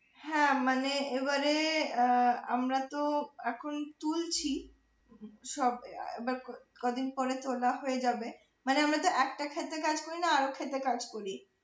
হ্যাঁ মানে এবারে আহ আমারা তো এখন তুলছি সব আহ কদিন পরে তোলা হয়ে যাবে মানে আমরা তো একটা ক্ষেতে কাজ করিনা আরও ক্ষেতে কাজ করি।